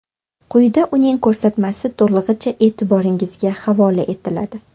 Quyida uning ko‘rsatmasi to‘lig‘icha e’tiboringizga havola etiladi.